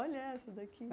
Olha essa daqui!